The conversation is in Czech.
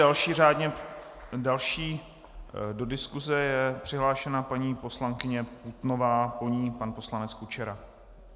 Další do diskuse je přihlášena paní poslankyně Putnová, po ní pan poslanec Kučera.